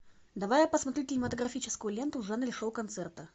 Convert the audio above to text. давай я посмотрю кинематографическую ленту в жанре шоу концерта